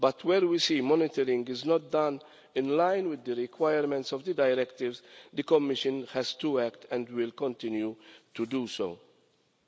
But when we see that monitoring is not done in line with the requirements of the directives, the Commission has to act and will continue to act.